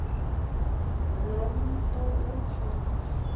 lo mfo utsho